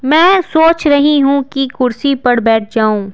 मैं सोच रही हूं कि कुर्सी पर बैठ जाऊं।